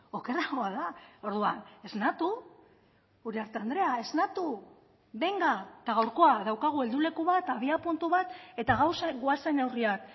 okerragoa da orduan esnatu uriarte andrea esnatu benga eta gaurkoa daukagu helduleku bat abiapuntu bat eta gauzak goazen neurriak